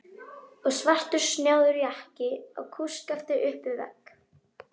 Og svartur snjáður jakki á kústskafti upp við vegg!